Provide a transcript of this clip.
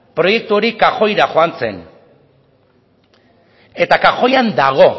proiektu hori kajoira joan zen eta kajoian dago